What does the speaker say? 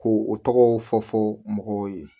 Ko o tɔgɔw fɔ fɔ mɔgɔw ye